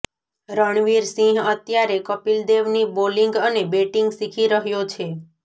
રણવીર સિંહ અત્યારે કપિલ દેવની બોલિંગ અને બેટિંગ શીખી રહ્યો છે